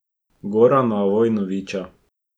Gorana Vojnovića.